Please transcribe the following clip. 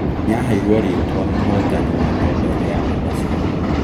Nĩaheiruo rĩtwa mũhotani wa Nobel ya mathabu